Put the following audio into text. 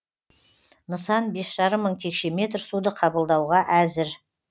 нысан бес жарым мың текше метр суды қабылдауға әзір